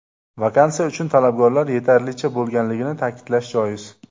Vakansiya uchun talabgorlar yetarlicha bo‘lganligini ta’kidlash joiz”.